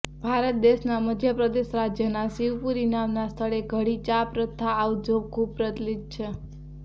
ભારત દેશના મધ્ય પ્રદેશ રાજ્યના શિવપુરી નામના સ્થળે ઘડી ચા પ્રથા આવજો ખૂબ પ્રચલિત છે